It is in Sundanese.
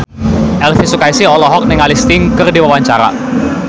Elvi Sukaesih olohok ningali Sting keur diwawancara